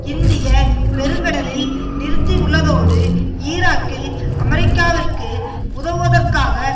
இந்திய பெருங்கடலில் நிறுத்தியுள்ளதோடு ஈராக்கில் அமெரிக்காவிற்கு உதவுவதற்காக